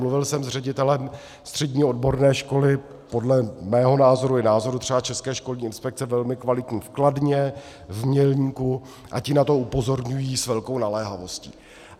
Mluvil jsem s ředitelem střední odborné školy podle mého názoru i názoru třeba České školní inspekce velmi kvalitní v Kladně, v Mělníku, a ti na to upozorňují s velkou naléhavostí.